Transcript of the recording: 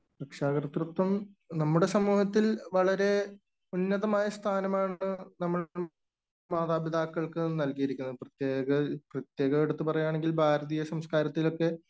രക്ഷകർത്തൃത്വം നമ്മുടെ സമൂഹത്തിൽ വളരെ ഉന്നതമായ സ്ഥാനമാണ് നമ്മൾ മാതാപിതാക്കൾക്ക് നൽകിയിരിക്കുന്നത്. പ്രത്യേകം എടുത്ത് പറയുകയാണെങ്കിൽ ഭാരതീയ സംസ്കാരത്തിലൊക്കെ